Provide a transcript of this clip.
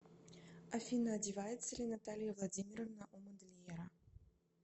афина одевается ли наталья владимировна у модельера